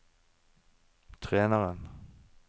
treneren